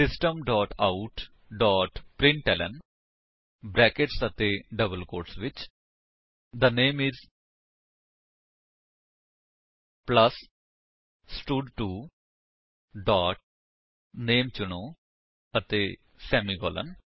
system dot out dot println brackets ਅਤੇ double quotes ਵਿੱਚ the name is plus ਸਟਡ2 dot name ਚੁਣੋ ਅਤੇ ਸੇਮੀਕਾਲਨ